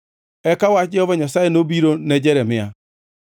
Eka wach Jehova Nyasaye nobiro ne Jeremia: